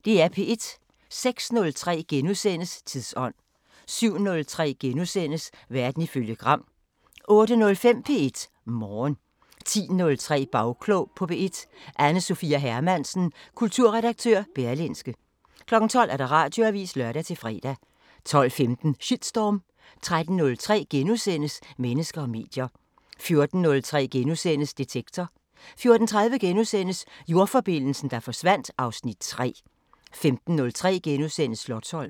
06:03: Tidsånd * 07:03: Verden ifølge Gram * 08:05: P1 Morgen 10:03: Bagklog på P1: Anne Sophia Hermansen, kulturredaktør Berlingske 12:00: Radioavisen (lør-fre) 12:15: Shitstorm 13:03: Mennesker og medier * 14:03: Detektor * 14:30: Jordforbindelsen, der forsvandt (Afs. 3)* 15:03: Slotsholmen *